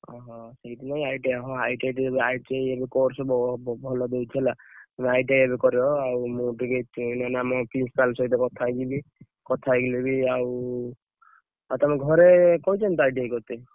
ଓହୋ! ସେଇଥିପାଇଁ ITI ହଁ ITI ଟିକେ ITI ଏବେ course ଭଲ ଦଉଛି ହେଲା ତମେ ITI ଏବେ କର ମୁଁ ଟିକେ ମାନେ ଆମ principal ସହ କଥା ହେଇଯିବି କଥା ହେଇଯିବି ଆଉ ତମ ଘରେ କହିଛନ୍ତି ତ ITI କରିତେ।